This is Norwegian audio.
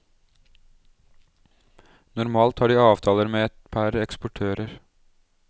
Normalt har de avtaler med et par eksportører.